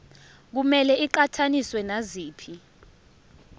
kumele iqhathaniswe naziphi